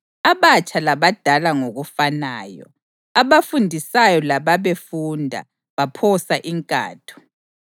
Abatsha labadala ngokufanayo, abafundisayo lababefunda, baphosa inkatho.